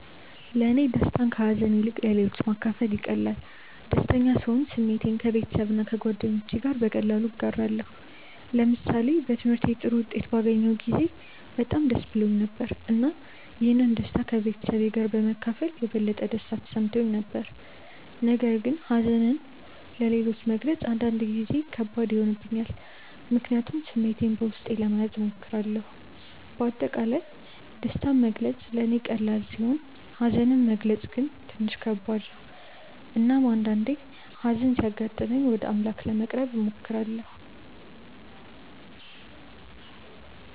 ለእኔ ደስታን ከሀዘን ይልቅ ለሌሎች ማካፈል ይቀላል። ደስተኛ ስሆን ስሜቴን ከቤተሰብና ከጓደኞቼ ጋር በቀላሉ እጋራለሁ። ለምሳሌ በትምህርቴ ጥሩ ውጤት ባገኘሁ ጊዜ በጣም ደስ ብሎኝ ነበር፣ እና ይህን ደስታ ከቤተሰቤ ጋር በመካፈል የበለጠ ደስታ ተሰምቶኝ ነበር። ነገር ግን ሀዘንን ለሌሎች መግለጽ አንዳንድ ጊዜ ከባድ ይሆንብኛል፣ ምክንያቱም ስሜቴን በውስጤ ለመያዝ እሞክራለሁ። በአጠቃላይ ደስታን መግለጽ ለእኔ ቀላል ሲሆን ሀዘንን መግለጽ ግን ትንሽ ከባድ ነው። እናም አንዳአንዴ ሀዘን ሲያጋጥመኝ ወደ አምላክ ለመቅረብ እሞክራለሁ።